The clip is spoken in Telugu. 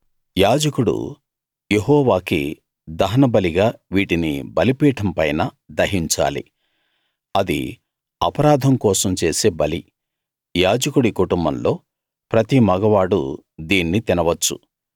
యాజకుడు యెహోవాకి దహనబలిగా వీటిని బలిపీఠం పైన దహించాలి అది అపరాధం కోసం చేసే బలి యాజకుడి కుటుంబంలో ప్రతి మగవాడూ దీన్ని తినవచ్చు